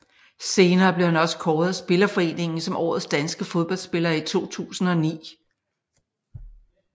Senere blev han også kåret af spillerforeningen som årets danske fodboldspiller i 2009